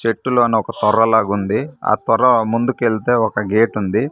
చెట్టులోన ఒక తొర్రలాగ ఉంది ఆ తొర్ర ముందుకి వెళ్తే ఒక గేట్ ఉంది.